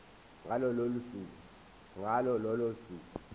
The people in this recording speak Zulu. ngalo lolo suku